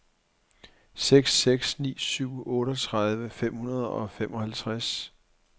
seks seks ni syv otteogtredive fem hundrede og femoghalvtreds